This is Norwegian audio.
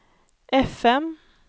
FM